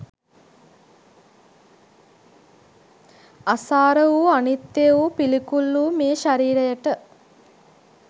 අසාර වූ අනිත්‍ය වූ පිළිකුල් වූ මේ ශරීරයට